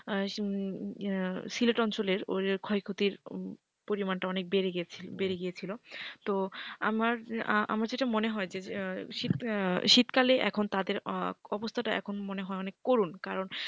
সিলেট অঞ্চলের ক্ষয়ক্ষতি পরিমাণটা অনেক বেড়ে বেড়ে গিয়েছিল তো আমার আমার যেটা মনে হয় যে শীতকালে এখন তাদের অবস্থাটা এখন মনে হয় অনেক করুন কারণ,